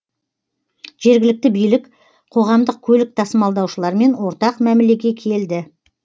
жергілікті билік қоғамдық көлік тасымалдаушылармен ортақ мәмілеге келді